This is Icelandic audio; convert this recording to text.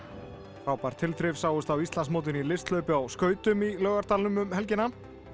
frábær tilþrif sáust á Íslandsmótinu í listhlaupi á skautum í Laugardalnum um helgina